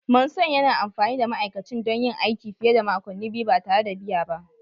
Manson yana amfani da ma'aikacin don yin aiki fiye da makonni biyu ba tare da biya ba